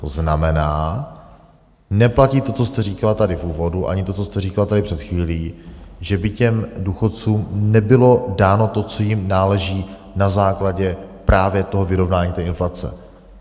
To znamená, neplatí to, co jste říkala tady v úvodu, ani to, co jste říkala tady před chvílí, že by těm důchodcům nebylo dáno to, co jim náleží, na základě právě toho vyrovnání té inflace.